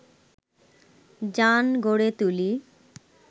জান গড়ে তুলি